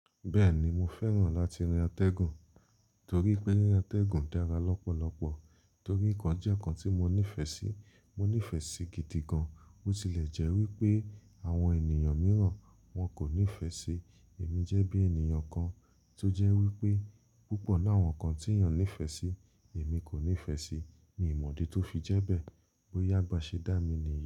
Bẹ́ẹ̀ni mo fẹ́ràn láti rin atẹ́gùn torí pé ríran atẹ́gùn dára lọ́pọ̀lọpọ̀ torí ìkan jẹ́ ìkan tí mo nífẹ̀ẹ́ sí. Mo nífẹ̀ẹ́ sí gidi gan. Ó tilẹ̀ jẹ́ wípé àwọn ènìyàn mìíràn wọn kò nífẹ̀ẹ́ sí. Èmi jẹ́ bí ènìyàn kan tó jẹ́ wípé púpọ̀ inú áwọn nǹkan tí èèyàn nífẹ̀ẹ́ sí èmi kò nífẹ̀ẹ́ sí mi ì mọ̀dí tó fi jẹ́ bẹ́ẹ̀. Bòyá bá ṣe dá mi ni yí.